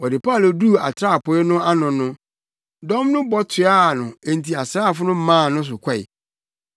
Wɔde Paulo duu atrapoe no ano no, dɔm no bɔ toaa no enti asraafo no maa no so kɔe.